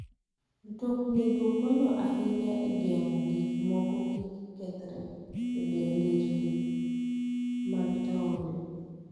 Mtoknigo konyo ahinya e geng'o gik moko kik kethre e nderni mag taonde.